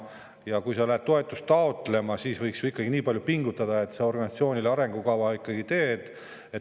Ja kui sa lähed toetust taotlema, siis võiks ikkagi nii palju pingutada, et sa organisatsiooni arengukava ikkagi teed.